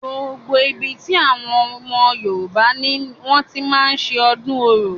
Gbogbo ibi tí àwọn ọmọ yorùbá ni wọ́n ti máa ń ṣe ọdún orò.